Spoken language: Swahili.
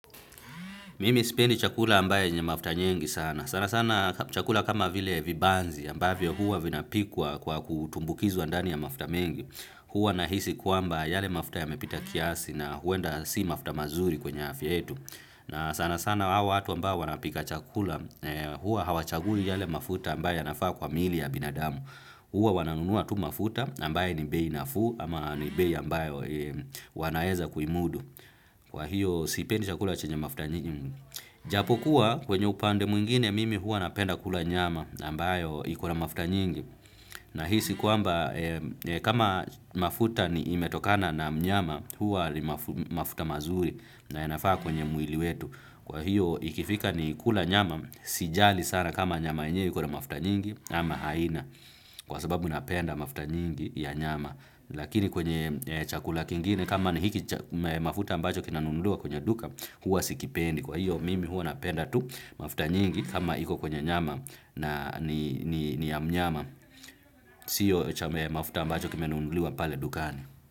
Mimi sipendi chakula ambaye yenye mafuta nyingi sana. Sana sana chakula kama vile vibanzi ambavyo huwa vinapikwa kwa kutumbukizwa ndani ya mafuta mengi. Huwa nahisi kwamba yale mafuta yamepita kiasi na huenda si mafuta mazuri kwenye afya yetu. Na sana sana hawa watu ambao wanapika chakula, huwa hawachagui yale mafuta ambaye yanafaa kwa miili ya binadamu. Huwa wananunua tu mafuta ambaye ni bei nafuu ama ni bei ambayo wanaeza kuimudu. Kwa hiyo sipendi chakula chenye mafuta nyingi. Japo kuwa kwenye upande mwingine mimi huwa napenda kula nyama ambayo ikona mafuta nyingi. Na hisi kwamba kama mafuta ni imetokana na mnyama huwa ni mafuta mazuri na yanafaa kwenye mwili wetu. Kwa hiyo ikifika ni kula nyama sijali sana kama nyama yenyewe ikona mafuta nyingi ama haina. Kwa sababu napenda mafuta nyingi ya nyama. Lakini kwenye chakula kingine kama ni hiki mafuta ambacho kinanunuliwa kwenye duka huwa sikipendi kwa hiyo mimi huwa napenda tu mafuta nyingi kama iko kwenye nyama na ni ya mnyama sio mafuta ambacho kimenunuliwa pale dukani.